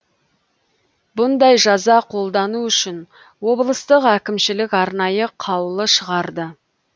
бұндай жаза қолдану үшін облыстық әкімшілік арнайы қаулы шығарды